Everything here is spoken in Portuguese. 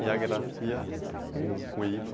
E a grafia, com ípsilo